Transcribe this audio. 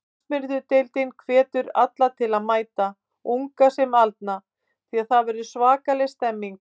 Knattspyrnudeildin hvetur alla til að mæta, unga sem aldna því það verður svakaleg stemning.